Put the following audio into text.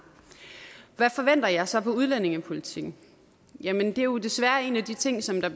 hvad forventer jeg så af udlændingepolitikken jamen det er jo desværre en af de ting som der